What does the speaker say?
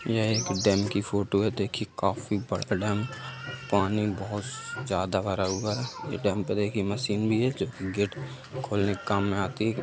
यह एक डैम की फोटो है देखिये काफी बड़ा डैम पानी बहुत ज्यादा भरा हुआ है | यह डैम पे देखिये मशीन भी है जो गेट खोलने के काम में आती है ।